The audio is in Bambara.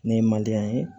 Ni ye ye